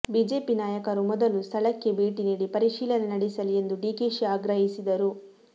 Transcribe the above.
BJP ನಾಯಕರು ಮೊದಲು ಸ್ಥಳಕ್ಕೆ ಭೇಟಿ ನೀಡಿ ಪರೀಶೀಲನೆ ನಡೆಸಲಿ ಎಂದು ಡಿಕೆಶಿ ಆಗ್ರಹಿಸಿದರು